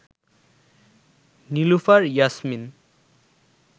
Nilufar Yasmin